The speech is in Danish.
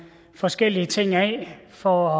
forskellige ting af for